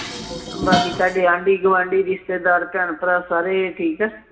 ਬਾਕੀ ਤੁਹਾਡੇ ਆਂਢੀ ਗੁਆਂਢੀ ਰਿਸ਼ਤੇਦਾਰ ਭੈਣ ਭਰਾ ਸਾਰੇ ਠੀਕ ਆ